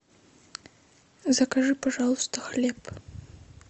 закажи пожалуйста хлеб